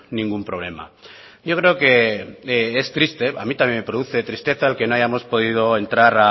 ningún problema yo creo que es triste a mí también me produce tristeza el que no hayamos podido entrar